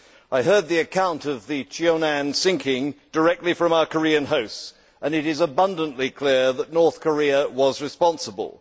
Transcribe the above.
I heard the account of the sinking directly from our Korean hosts and it is abundantly clear that North Korea was responsible.